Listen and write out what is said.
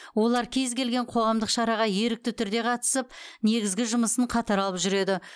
олар кез келген қоғамдық шараға ерікті түрде қатысып негізгі жұмысын қатар алып жүреді